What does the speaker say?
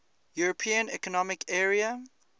european economic area